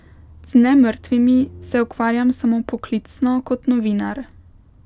Z nemrtvimi se ukvarjam samo poklicno kot novinar.